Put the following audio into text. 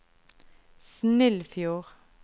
Snillfjord